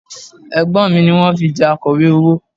Ẹ̀gbọ́n mi ni wọ́n fi jẹ Akọ̀wé owó